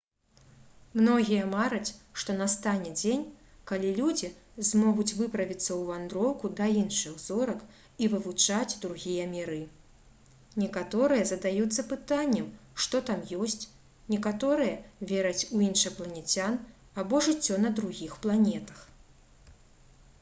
многія мараць што настане дзень калі людзі змогуць выправіцца ў вандроўку да іншых зорак і вывучаць другія міры некаторыя задаюцца пытаннем што там ёсць некаторыя вераць у іншапланецян або жыццё на другіх планетах